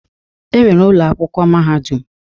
E nwere ụlọakwụkwọ mahadum.